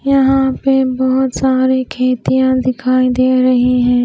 यहां पे बहोत सारी खेतियाँ दिखाई दे रही है।